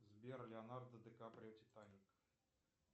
сбер леонардо ди каприо титаник